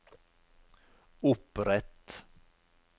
opprett